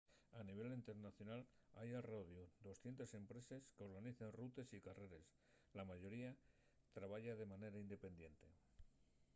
a nivel internacional hai al rodiu 200 empreses qu'organicen rutes y carreres la mayoría trabaya de manera independiente